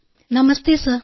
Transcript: അപർണ നമസ്തേ സർ